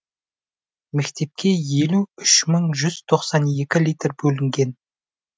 мектепке елу үш мың жүз тоқсан екі литр бөлінген